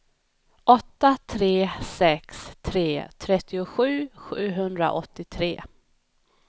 åtta tre sex tre trettiosju sjuhundraåttiotre